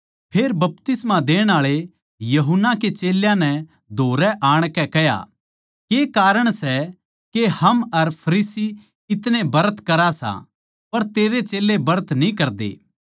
फेर बपतिस्मा देण आळे यूहन्ना के चेल्यां नै धोरै आणकै कह्या के कारण सै के हम अर फरीसी इतणे ब्रत करा सां पर तेरे चेल्लें ब्रत न्ही करदे